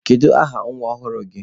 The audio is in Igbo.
Kedụ aha nwa ọhụrụ gi?